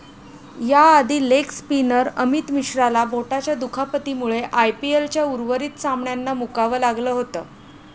याआधी leg spinner Amit मिश्राला बोटाच्या दुखापतीमुळे आयपीएलच्या उर्वरित सामन्यांना मुकावं लागलं होतं.